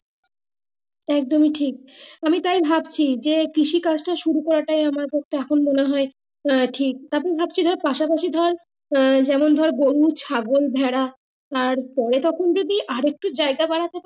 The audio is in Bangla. একদম এ ঠিক আমি তাই ভাবছি যে কৃষি কাজটা শুরু করা টা আমার পক্ষে এখন মোনেহয় হ্যাঁ ঠিক এখন ভাবছি পাশা পাশি ধর আহ যেমন ধরে গরু ছাগল ভেড়া আর পরে তখন যদি আর একটু জায়গা দাঁড়াতো তাহলে।